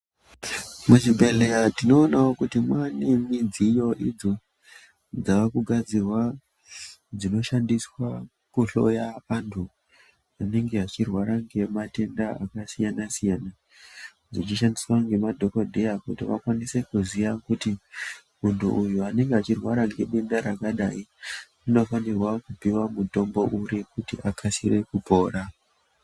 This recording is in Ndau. Muchibhedhlera tinoone kuti mune midziyo idzo dzavakugadzirwa. Dzinoshandiswa kuhloya antu anenge achirwara ngematenda akasiyana siyana dzichishandiswa nemadhokodheya kuti vakwanise kuziva kuti muntu uyu anenge achirwara ngedenda rakadai unofanira kupihwa mutombo uri kuti akasike kupora